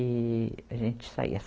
E a gente saía.